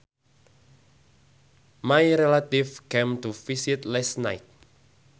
My relatives came to visit last night